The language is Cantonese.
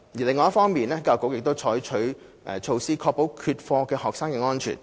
另一方面，教育局已採取措施，確保缺課學生的安全。